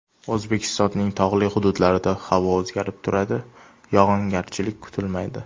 O‘zbekistonning tog‘li hududlarida havo o‘zgarib turadi, yog‘ingarchilik kutilmaydi.